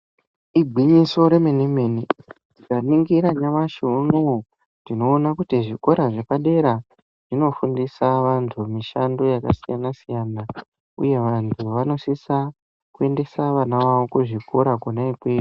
Igwinyiso remene-mene, ndikaningira nyamashi uno uyu, ndinoona kuti zvikora zvepadera zvinofundisa vantu mishando yakasiyana-siyana uye vantu vanosisa kuendesa vana vavo kuzvikora kona ikweyo.